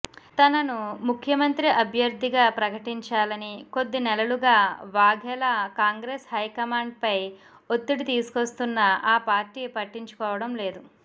తనను ముఖ్యమంత్రి అభ్యర్థిగా ప్రకటించాలని కొద్ది నెలలుగా వాఘెలా కాంగ్రెస్ హైకమాండ్పై ఒత్తిడి తీసుకొస్తున్నా ఆ పార్టీ పట్టించుకోవడం లేదు